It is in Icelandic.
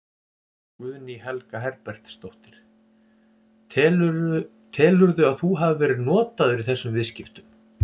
Guðný Helga Herbertsdóttir: Telurðu að þú hafi verið notaður í þessum viðskiptum?